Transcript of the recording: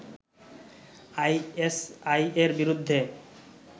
আইএসআই-এর বিরুদ্ধে